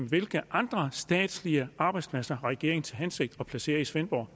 hvilke andre statslige arbejdspladser har regeringen til hensigt at placere i svendborg